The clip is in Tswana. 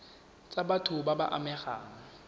tsa batho ba ba amegang